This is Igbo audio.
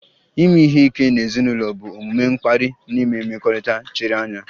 Ime ihe ike n'ezinụlọ bụ omume mkparị n'ime mmekọrịta chiri anya